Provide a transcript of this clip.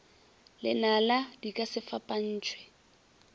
lenala di ka se fapantšhwe